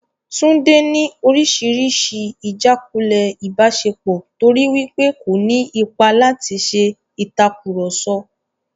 Tunde ni oríṣiríṣi ijàkulẹ̀ ìbáṣepọ̀ torí wípé kò ní ipa láti ṣe ìtàkurọ̀sọ.